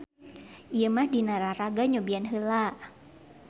Ieu mah dina raraga nyobian heula.